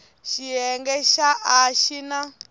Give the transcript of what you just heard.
xiyenge xa a xi na